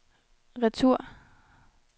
retur